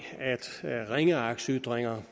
ringeagtsytringer